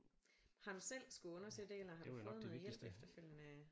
Har du selv skulle undersøge det eller har du fået noget hjælp efterfølgende